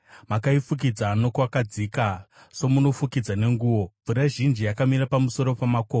Makaifukidza nokwakadzika somunofukidza nenguo; mvura zhinji yakamira pamusoro pamakomo.